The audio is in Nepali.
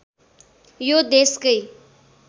यो देशकै